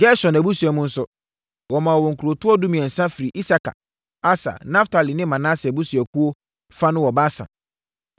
Gerson abusua no nso, wɔmaa wɔn nkurotoɔ dumiɛnsa firii Isakar, Aser, Naftali ne Manase abusuakuo fa no wɔ Basan.